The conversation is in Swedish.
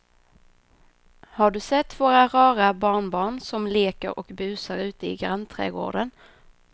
Har du sett våra rara barnbarn som leker och busar ute i grannträdgården!